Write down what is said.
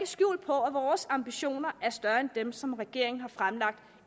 skjul på at vores ambitioner er større end dem som regeringen har fremlagt